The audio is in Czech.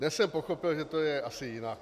Dnes jsem pochopil, že to je asi jinak.